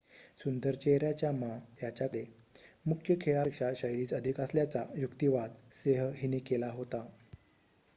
सुंदर चेहऱ्याच्या मा याच्याकडे मुख्य खेळापेक्षा शैलीच अधिक असल्याचा युक्तिवाद सेह हिने केला होता